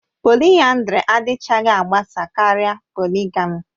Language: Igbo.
Polịyandari adịchaghị agbasa karịa poligamì